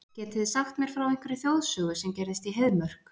Getið þið sagt mér frá einhverri þjóðsögu sem gerðist í Heiðmörk?